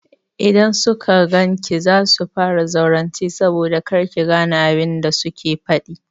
Idan suka gan ki za su fara zaurance saboda kar ki gane abin da suke faɗi.